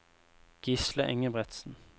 Gisle Engebretsen